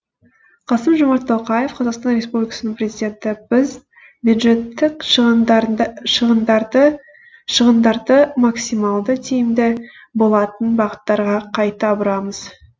қасым жомарт тоқаев қазақстан республикасының президенті біз бюджеттік шығындарды максималды тиімді болатын бағыттарға қайта бұрамыз